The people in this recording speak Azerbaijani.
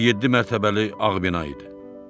Bu yeddi mərtəbəli ağ bina idi.